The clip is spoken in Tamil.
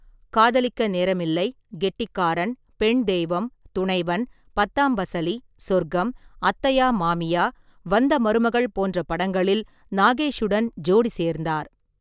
காதலிக்க நேரமில்லை, கெட்டிக்காரன், பெண் தெய்வம், துணைவன், பத்தாம் பசலி, சொர்க்கம், அத்தையா மாமியா, வந்த மருமகள் போன்ற படங்களில் நாகேஷுடன் ஜோடி சேர்ந்தார்.